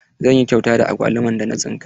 Zan yi kyauta da agwaluman da na tsinka.